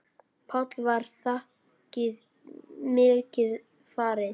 Páll: Var þakið mikið farið?